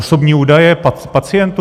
Osobní údaje pacientů?